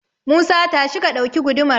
Musa, tashi ka ɗauki gudumar.